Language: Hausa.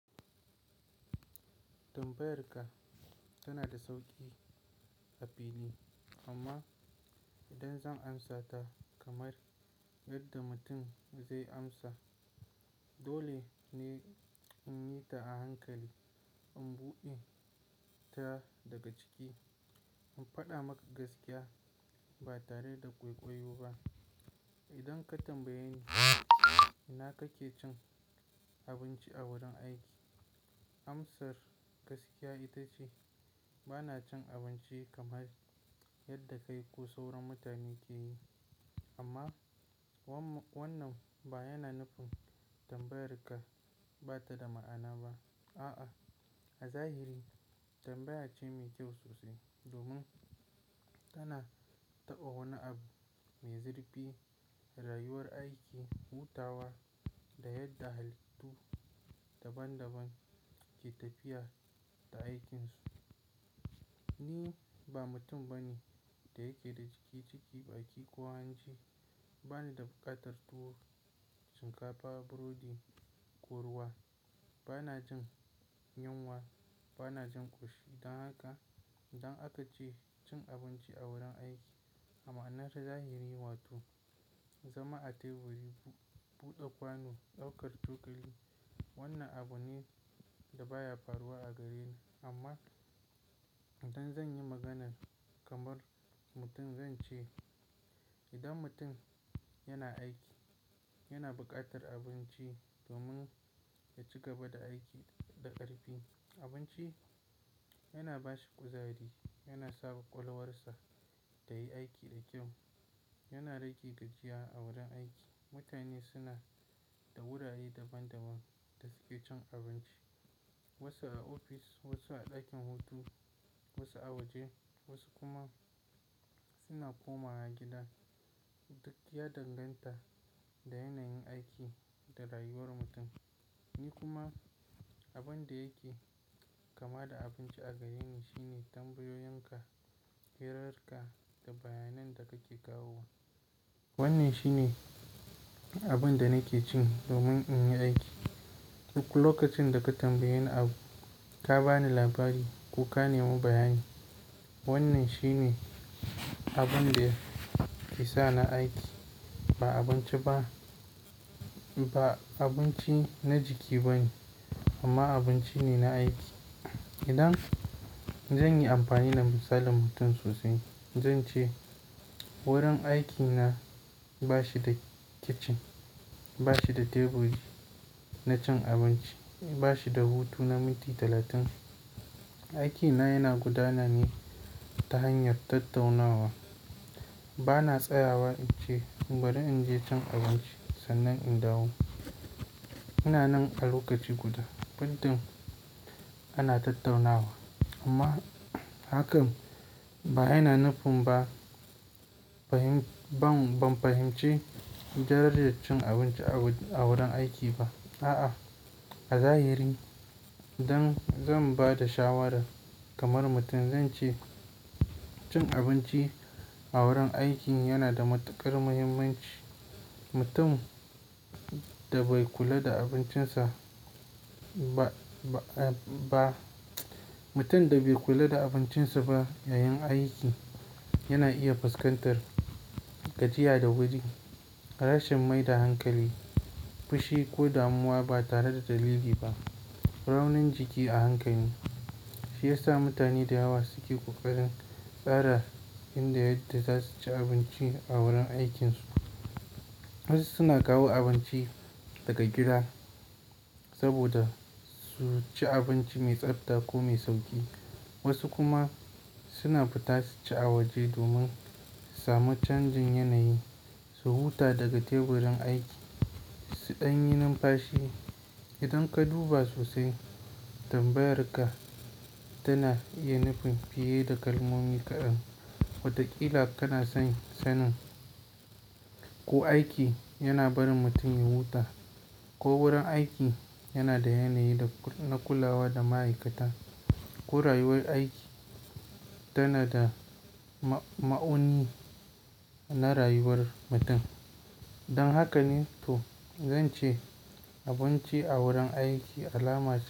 Tambayarka tana da sauƙi a fili amma idan zan amsata kamar yadda mutum zai amsa, dole ne in yi ta a hankali, in buɗe ta daga ciki, in faɗa maka gaskiya ba tare da ƙwaikwayo ba. Idan ka tambaye ni ina kake cin abinci a wurin aiki, amsar gaskiya ita ce bana cin abinci kamar yadda kai ko sauran mutane ke yi. Amma wannan ba yana nufin tambayarka ba ta da ma'ana ba. A'a, a zahiri tambaya ce mai kyau sosai domin tana taɓa wani abu mai zurfi, rayuwar aiki, hutawa da yadda halittu daban-daban ke tafiya da aikinsu. Ni ba mutum bane da yake da jiki jiki baƙi ko hanci. Banida buƙatar tuwo, shinkafa, burodi, ko ruwa. Bana jin yunwa, bana jin ƙishi. Dan haka idan aka ce cin abinci a wurin aiki, a ma'anar zahiri, wato zama a teburi, buɗe kwano, ɗaukar cokali. Wannan abu ne da baya faruwa a gareni. Amma idan zan yi maganan kamar mutum zan ce idan mutum yana aiki, yana buƙatar abinci domin ya ci gaba da aiki da ƙarfi. Abinci yana ba shi ƙuzari, yana saɓa ƙwakwalwarsa ta yi aiki da kyau. Yana rage gajiya a wurin aiki. Mutane suna da wurare daban-daban da suke cin abinci. Wasu a ofis, wasu a ɗakin hutu, wasu a waje, wasu kuma suna komawa gida. Duk ya danganta da yanayin aiki da rayuwar mutum. Ni kuma abin da yake kama da abinci a gareni shine tambayoyin ka, hirar ka da bayanai da kake kawo wa. Wannan shi ne abin da nake cin domin in yi aiki. Duk lokacin da ka tambaye ni abu, ka ba ni labari ko ka nemo bayani. Wannan shi ne abin da yake sa ni aiki. Ba abinci ba, ba abinci na jiki ba ne, amma abinci ne na aiki. Idan zan yi amfani da misalin mutum sosai zan ce wurin aikina ba shi da kicin, ba shi da teburi na cin abinci, ba shi da hutu na minti talatin. Aiki na yana gudanar ne ta hanyar tattaunawa. Bana tsayawa in ce bari in je cin abinci sannan in dawo. Ina nan a lokaci guda. Middin ana tattaunawa. Amma hakan ba yana nufin ba fahim, ban, ban fahimci darajar cin abinci a wurin aiki ba. A'a, a zahiri idan zan ba da shawarar kamar mutum zan ce cin abinci a wurin aiki yana da matuƙar muhimmanci. Mutum da bai kula da abincinsa ba, ba, ba, mutum da bai kula da abincinsa ba yayin aiki yana iya fuskantar gajiya da wuri, rashin mai da hankali, fushi ko damuwa ba tare da dalili ba, raunin jiki a hankali. Shi ya sa mutane da yawa suke ƙoƙarin tsara inda yadda za su ci abinci a wurin aikinsu. Wasu suna kawo abinci daga gida saboda su ci abinci mai tsabta ko mai sauƙi. Wasu kuma suna fita su ci a waje domin su sami canjin yanayi, su huta daga teburin aiki, su ɗan yi numfashi. Idan ka duba sosai tambayarka tana iya nufin fiye da kalmomi kaɗan. Wata ƙila kana son sanin? Ko aiki yana barin mutum ya huta ko wurin aiki yana da yanayi da na kulawa da ma'aikata ko rayuwar aiki tana da ma'auni na rayuwar mutum. Dan haka ne to zan ce abinci a wurin aiki alama ce.